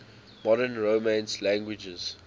modern romance languages